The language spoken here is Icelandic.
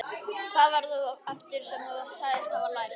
Hvað var það aftur sem þú sagðist hafa lært?